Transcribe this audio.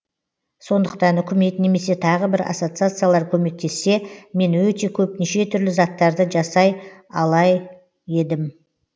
сондықтан үкімет немесе тағы бір ассоциациялар көмектессе мен өте көп неше түрлі заттарды жасай алай едім